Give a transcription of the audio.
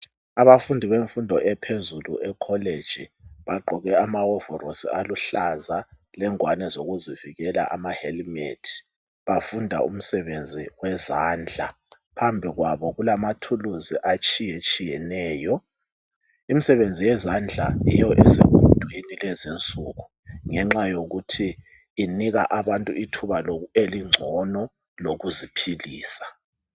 Abafundi bemfundo ephezulu ekholeji, bagqoke amawovolosi aluhlaza lengwane zokuzivikela amahelimethi. Bafunda umsebenzi wezandla. Phambikwabo kulamathuluzi atshiyetshiyeneyo. Imsebenzi yezandla yiyo esegudwini lezinsuku ngenxa yokuthi inika abantu ithuba elingcono lokuziphilisa.